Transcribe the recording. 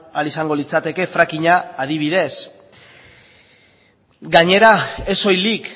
ahal izango litzateke frackinga adibidez gainera ez soilik